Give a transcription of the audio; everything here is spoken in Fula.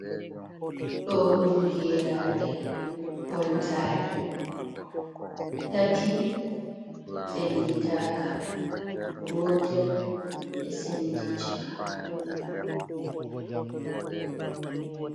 Ɗo ɗum geraaɗe ɓoltaaɗe, tati senditaka, gotel ɓe sendi chaka.